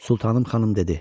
Sultanım xanım dedi: